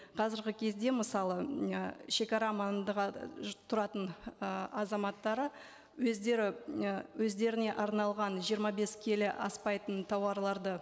қазіргі кезде мысалы і шегара маңындағы тұратын ы азаматтары өздері і өздеріне арналған жиырма бес келі аспайтын тауарларды